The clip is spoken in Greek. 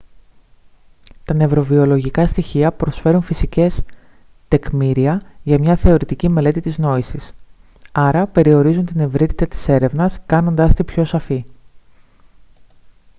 τα νευροβιολογικά στοιχεία προσφέρουν φυσικές τεκμήρια για μια θεωρητική μελέτη της νόησης άρα περιορίζουν την ευρύτητα της έρευνας κάνοντάς τη πιο σαφή